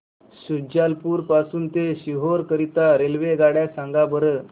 शुजालपुर पासून ते सीहोर करीता रेल्वेगाड्या सांगा बरं